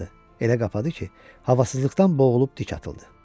Elə qapdı ki, havasızlıqdan boğulub dik atıldı.